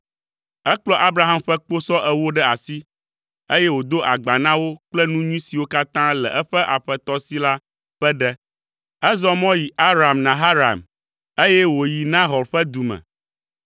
Ekplɔ Abraham ƒe kposɔ ewo ɖe asi, eye wòdo agba na wo kple nu nyui siwo katã le eƒe aƒetɔ si la ƒe ɖe. Ezɔ mɔ yi Aram Naharaim, eye wòyi Nahor ƒe du me.